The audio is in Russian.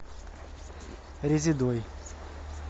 резедой